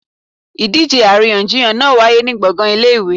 Idíje aríyànjiyàn náá wàyé ni gbọngan ìlé-ìwé